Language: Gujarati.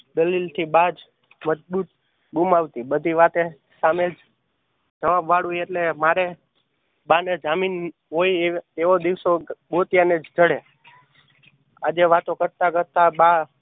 દલીલ થી બા જ ગુમાવતી. બધી વાતે સામે જવાબ વાળું એટલે મારે બા ને જામીન હોય એવા દિવસો ગોત્યા ને જ જળે આજે વાતો કરતા કરતા બા